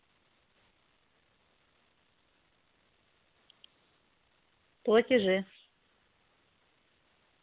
платежи